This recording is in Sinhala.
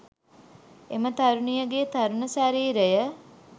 එම තරුණියගේ තරුණ ශරීරය.